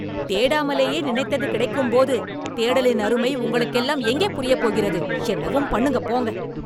தேடாமலேயே நினைத்தது கிடைக்கும்போது, தேடலின் அருமை உங்களுக்கெல்லாம் எங்கே புரியப் போகிறது? என்னவும் பண்ணுங்க போங்க